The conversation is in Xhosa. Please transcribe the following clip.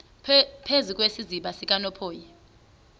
phezu kwesiziba sikanophoyi